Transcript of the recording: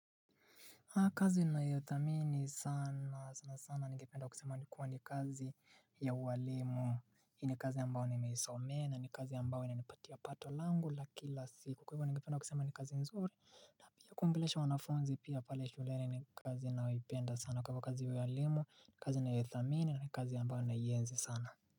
Haa kazi nayothamini sana sanasana ningependa kusema ni kuwa ni kazi ya uwalimu Hii ni kazi ambayo nimeisomea na ni kazi ambayo inanipatia pato langu la kila siku Kwa hivo ningependa kusema ni kazi nzuri na pia kuongelesha wanafunzi pia pale shuleni ni kazi nayoipenda sana kwa ivo kazi ya uwalimu ni kazi nayoithamini na ni kazi ambayo naienzi sana.